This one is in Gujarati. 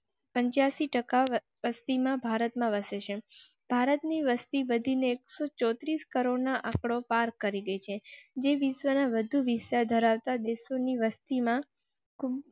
પંચા સી ટકા પશ્ચિમ ભારત માં વસે છે ભારતની વસતી વધી ને એકસો ચોત્રીસ crore નો આંકડો પાર કરી છે જે વિશ્વના વધુ વિસ્તાર ધરાવતા દેશો ની વસ્તી માં